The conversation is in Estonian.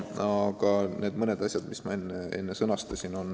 Aga mõned asjad ma juba sõnastasin.